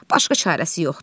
Başqa çarəsi yoxdur.